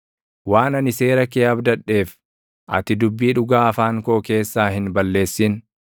Waan ani seera kee abdadheef, ati dubbii dhugaa afaan koo keessaa hin balleessin.